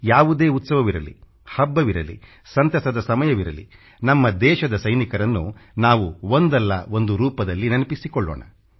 ಯಾವುದೇ ಉತ್ಸವವಿರಲಿ ಹಬ್ಬವಿರಲಿ ಸಂತಸದ ಸಮಯವಿರಲಿ ನಮ್ಮ ದೇಶದ ಸೈನಿಕರನ್ನು ನಾವು ಒಂದಲ್ಲ ಒಂದು ರೂಪದಲ್ಲಿ ನೆನಪಿಸಿಕೊಳ್ಳೋಣ